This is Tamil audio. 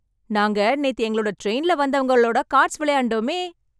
நாங்க நேத்து எங்களோட ட்ரெயின்ல வந்தவங்க ஓட கார்ட்ஸ் விளையாண்டோமே